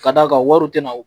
Ka d'a kan wariw tɛ na